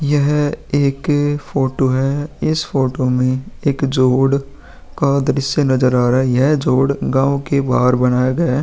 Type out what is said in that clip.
यह एक अ फोटो है। इस फोटो मे एक जोड़ का दृश्य नजर आ रहा है। यह जोड़ गांव के बाहर बनाया गया है।